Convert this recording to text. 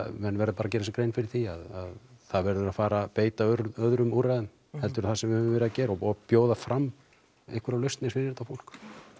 menn verða bara að gera sér grein fyrir því að það verður að fara að beita öðrum úrræðum heldur en það sem við höfum verið að gera og bjóða fram einhverjar lausnir fyrir þetta fólk